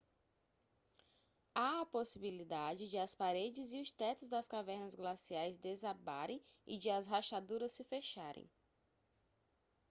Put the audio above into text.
há a possibilidade de as paredes e os tetos das cavernas glaciais desabarem e de as rachaduras se fecharem